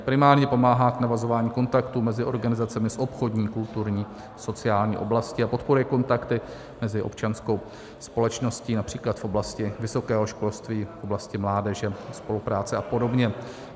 Primárně pomáhá k navazování kontaktů mezi organizacemi z obchodní, kulturní, sociální oblasti a podporuje kontakty mezi občanskou společností, například v oblasti vysokého školství, v oblasti mládeže, spolupráce a podobně.